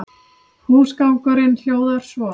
Húsgangurinn hljóðar svo